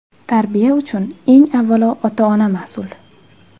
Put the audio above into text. Tarbiya uchun, eng avvalo, ota-ona mas’ul.